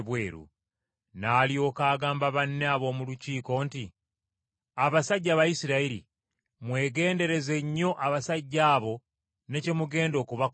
N’alyoka agamba banne ab’omu Lukiiko nti: “Abasajja Abayisirayiri, mwegendereze nnyo abasajja abo ne kye mugenda okubakolako.